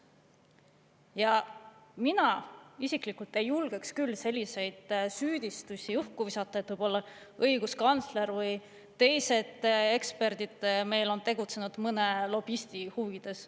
Ja mina isiklikult ei julgeks küll selliseid süüdistusi õhku visata, et võib-olla õiguskantsler või teised eksperdid meil on tegutsenud mõne lobisti huvides.